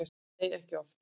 Nei, ekki oft.